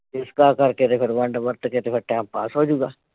ਇਸ਼ਕਾ ਕਰਕੇ ਤੇ ਫਿਰ ਵੰਡ ਵਰਤ ਕੇ ਤੇ ਫਿਰ ਟਾਈਮ ਪਾਸ ਹੋਜੂਗਾ।